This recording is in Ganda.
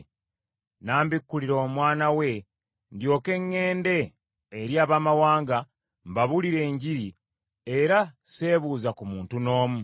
n’ambikkulira Omwana we ndyoke ŋŋende eri Abaamawanga mbabuulire Enjiri era sseebuuza ku muntu n’omu,